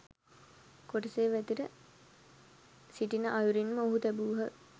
කොටසේ වැතිර සිටින අයුරින්ම ඔහු තැබූහ.